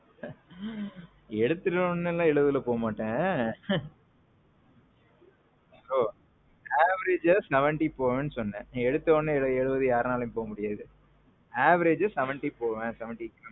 எடுத்துட்ட உடனே எல்லாம் எழுவதுல போமாட்டேன், bro. average எழுவதுல போவேன்னு சொன்னேன். எடுத்தவோன்னே யாராலயும் எழுவது எல்லாம் போமுடியாது. average seventy போவேன், seventy